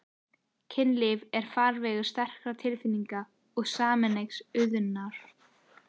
Kynlíf er farvegur sterkra tilfinninga og sameiginlegs unaðar.